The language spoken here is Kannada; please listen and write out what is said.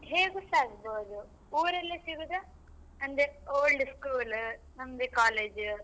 ಹೇಗೂಸ ಆಗ್ಬಹುದು ಊರಲ್ಲಿ ಸಿಗುದ ಅಂದ್ರೆ old school ನಮ್ದೇ college .